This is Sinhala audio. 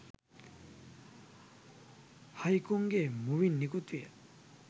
හයිකුන්ගේ මුවින් නිකුත් විය.